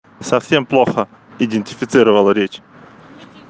совсем плохо идентифицировала речь